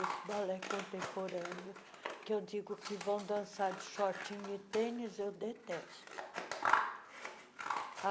Esse balé contemporâneo, que eu digo que vão dançar de shortinho e tênis, eu detesto.